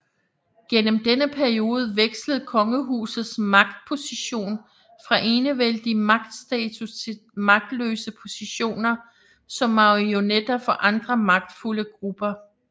Gennem denne periode vekslede kongehusets magtposition fra enevældig magtstatus til magtløse positioner som marionetter for andre magtfulde grupper